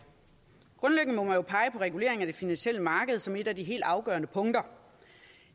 grundlæggende må man jo pege på reguleringen af det finansielle marked som et af de helt afgørende punkter